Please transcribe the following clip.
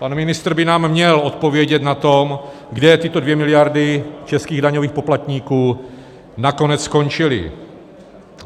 Pan ministr by nám měl odpovědět na to, kde tyto 2 miliardy českých daňových poplatníků nakonec skončily.